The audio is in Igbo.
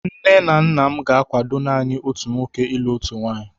Nne nna m ga-akwado naanị otu nwoke ilụ otu nwaanyị.